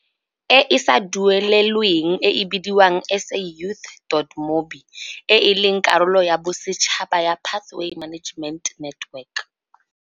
E e sa duelelweng e e bidiwang SAYouth dot mobi, e e leng karolo ya bosetšhaba ya Pathway Management Network.